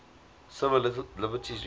civil liberties union